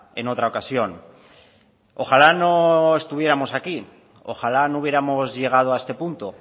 en otra ocasión ojalá no estuviéramos aquí ojalá no hubiéramos llegado a este punto